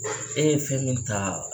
E ye fɛn min ta